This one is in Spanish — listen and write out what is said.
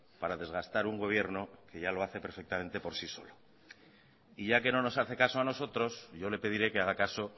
para desgastar un gobierno que ya lo hace perfectamente por sí solo y ya que no nos hace caso a nosotros yo le pediré que haga caso